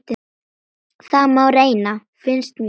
Það má reyna, finnst mér.